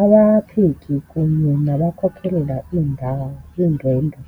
abapheki kunye nabakhokelela kwiindawo iindwendwe.